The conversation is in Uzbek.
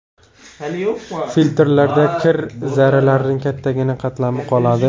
Filtrlarda kir zarralarining kattagina qatlami qoladi.